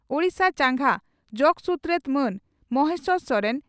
ᱳᱰᱤᱥᱟ ᱪᱟᱸᱜᱟ ᱡᱚᱜᱚ ᱥᱩᱛᱨᱮᱛ ᱢᱟᱱ ᱢᱚᱦᱮᱥᱚᱨ ᱥᱚᱨᱮᱱ